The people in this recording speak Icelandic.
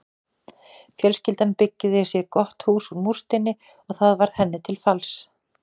Fjölskyldan byggði sér gott hús úr múrsteini og það varð henni til falls.